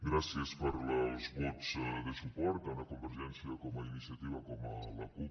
gràcies pels vots de suport tant a convergència com a iniciativa com a la cup